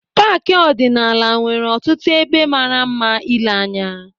Paaki ọdịnala nwere ọtụtụ ebe mara mma ile anya.